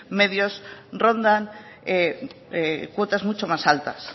medios rondan cuotas mucho más altas